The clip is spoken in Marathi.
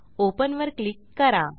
Openवर क्लिक करा